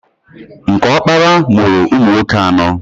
Nke ọkpara mụrụ ụmụnwoke anọọ.